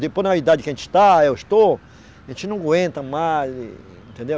Depois na idade que a gente está, eu estou, a gente não aguenta mais e, entendeu?